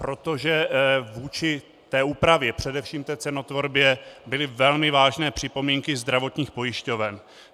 Protože vůči té úpravě, především té cenotvorbě byly velmi vážné připomínky zdravotních pojišťoven.